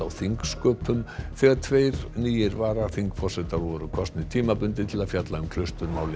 þingsköpum þegar tveir nýir varaþingforsetar voru kosnir tímabundið til að fjalla um